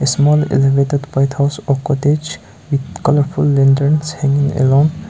small elevated white house or cottage with colourful lanterns hanging along.